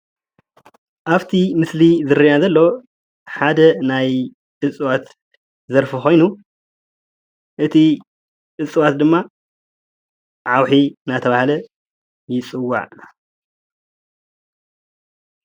ኣብቲ ምስሊ ዝራኣየና ዘሎ ሓደ ናይ እፅዋት ዘርፊ ኮይኑ እቲ እፅዋት ድማ ዓውሒ እናተባሃለ ይፅዋዕ።